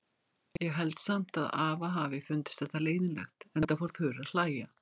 Ég held samt að afa hafi fundist þetta leiðinlegt, enda fór Þura að hlæja.